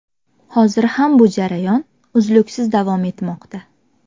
Hozir ham bu jarayon uzluksiz davom etmoqda.